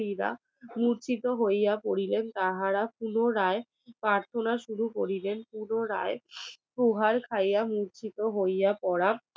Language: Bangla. মূর্ছিত হইয়া পড়িলেন তাহারা পুনরায় প্রার্থনা শুরু করিলেন পুনরায় প্রহার খাইয়া মূর্ছিত হইয়া পড়া